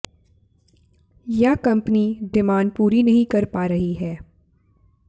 यह company demand पूरी नहीं कर पा रही है